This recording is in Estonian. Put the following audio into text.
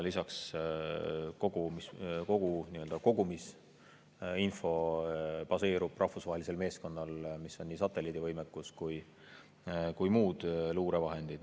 Lisaks baseerub kogu rahvusvahelisel meeskonnal, millel on nii satelliidivõimekus kui ka muud luurevahendid.